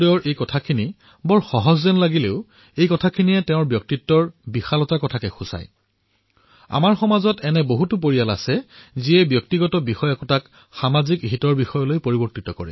গুৰবচন সিংজীৰ এই কথা সাধাৰণ যেন লাগিলেও ইয়াৰ পৰা তেওঁৰ ব্যক্তিত্বৰ বিষয়ে গম পোৱা যায় আৰু আমি দেখিছোঁ যে আমাৰ সমাজত এনেকুৱা বহু পৰিয়াল আছে যি ব্যক্তিগত প্ৰসংগক সমাজৰ হিতলৈ পৰিৱৰ্তন কৰে